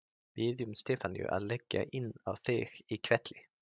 Biðjum Stefaníu að leggja inn á þig í hvelli.